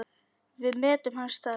Við metum hans starf.